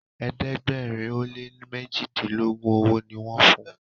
ẹ̀ẹ́dẹ̀gbẹ̀rin o lẹ mẹjidilogun ọwó ní wón fún.